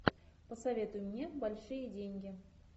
посоветуй мне большие деньги